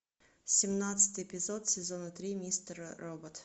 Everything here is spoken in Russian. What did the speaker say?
семнадцатый эпизод сезона три мистер робот